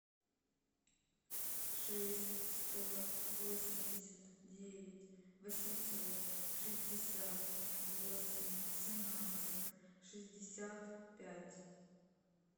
шесть сто восемьдесят девять восемьсот шестьдесят восемь семнадцать шестьдесят пять